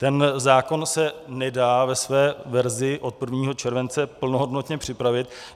Ten zákon se nedá ve své verzi od 1. července plnohodnotně připravit.